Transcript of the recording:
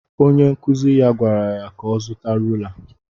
Onye nkụzi ya gwara ya ka ọ zuta rula